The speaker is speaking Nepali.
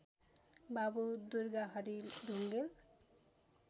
बाबु दुर्गाहरी ढुङेल